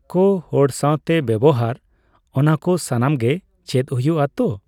ᱠᱚ, ᱦᱚᱲ ᱥᱟᱣᱛᱮ ᱵᱮᱵᱚᱦᱟᱨ, ᱚᱱᱟ ᱠᱚ ᱥᱟᱱᱟᱢ ᱜᱮ ᱪᱮᱫ ᱦᱩᱭᱩᱜᱼ᱾ ᱛᱚ,